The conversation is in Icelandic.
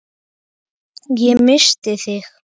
Ég missti þig.